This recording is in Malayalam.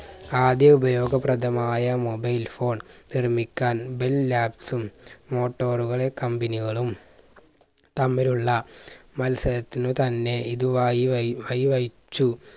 ആദ്യ ഉപയോഗപ്രദമായ mobile phone നിർമ്മിക്കാൻ ബില്ലാപ്സും motor കളെ company കളും തമ്മിലുള്ള മത്സരത്തിനു തന്നെ ഇത് വയി വഴി വയ് വഹിച്ചു